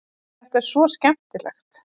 Þetta er svo skemmtilegt.